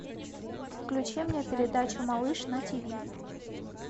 включи мне передачу малыш на тиви